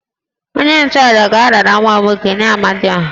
Onye-nchu-àjà ga-arara nwa m nwoke nye Amadiọha